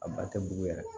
A ba tɛ bugu yɛrɛ